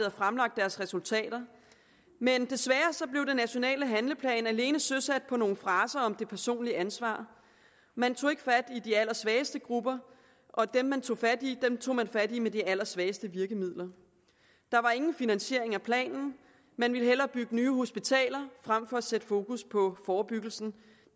og fremlagt deres resultater men desværre blev den nationale handleplan alene søsat på nogle fraser om det personlige ansvar man tog ikke fat i de allersvageste grupper og dem man tog fat i tog man fat i med de allersvageste virkemidler der var ingen finansiering af planen man ville hellere bygge nye hospitaler frem for at sætte fokus på forebyggelsen